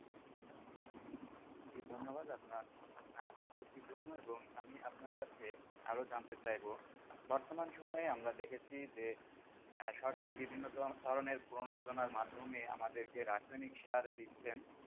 জি, ধ্যন্যবাদ, আপনার উত্তরটির জন্য এবং আপনার কাছে আরো জানতে চাইবো বর্তমান সময় আমরা দেখেছি যে আঃসরকার বিভিন্ন ধরনের প্রনোজনার মাধ্যমে আমাদেরকে রাসায়নিক সার দিচ্ছেন,